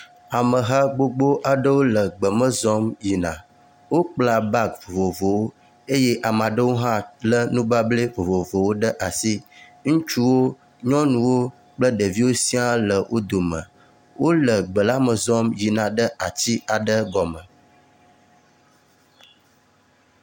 Ameha gbogbo aɖewo le gbeme zɔm yina. Wokpla bagi vovovowo eye ame aɖewo hã lé nubabla vovovowo ɖe asi. Ŋutsuwo, nyɔnuwo kple ɖeviwo siaa le wo dome, wole gbe la me zɔm yina ɖe ati aɖe gɔme.